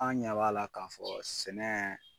An' ɲa b'a la k'a fɔ sɛnɛ